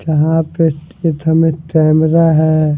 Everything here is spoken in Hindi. जहाँ पे इट इट हमें टैमेरा है।